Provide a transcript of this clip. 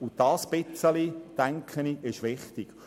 Dieses bisschen, denke ich, ist wichtig.